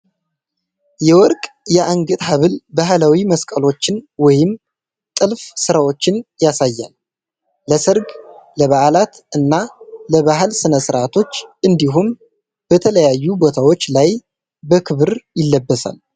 የወርቅ የአንገት ሐብል ባህላዊ መስቀሎችን ወይም ጥልፍ ሥራዎችን ያሳያል። ለሠርግ፣ ለበዓላት እና ለባህል ሥነ-ሥርዓቶች እንዲሁም በተለያዩ ቦታዎች ላይ በክብር ይለበሳል።